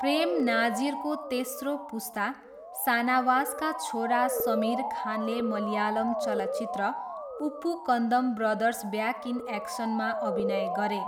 प्रेम नाजिरको तेस्रो पुस्ता, सानावासका छोरा समिर खानले मलयालम चलचित्र उप्पुकन्दम ब्रदर्स ब्याक इन एक्सनमा अभिनय गरे।